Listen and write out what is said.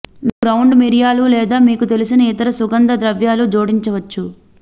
మీరు గ్రౌండ్ మిరియాలు లేదా మీకు తెలిసిన ఇతర సుగంధ ద్రవ్యాలు జోడించవచ్చు